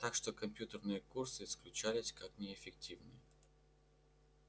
так что компьютерные курсы исключались как неэффективные